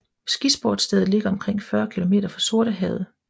Skisportsstedet ligger omkring 40 km fra Sortehavet